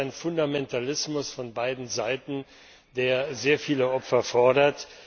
Es ist der Fundamentalismus von beiden Seiten, der sehr viele Opfer fordert.